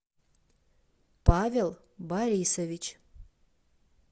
павел борисович